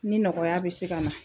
Ni nɔgɔya bɛ se ka na.